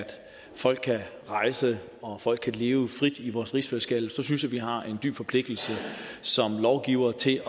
folk kan rejse og at folk kan leve frit i vores rigsfællesskab så synes jeg vi har en dyb forpligtelse som lovgivere til